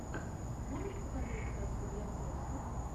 можешь показать сказку для взрослых